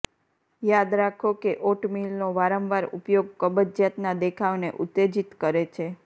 યાદ રાખો કે ઓટમીલનો વારંવાર ઉપયોગ કબજિયાતના દેખાવને ઉત્તેજિત કરે છે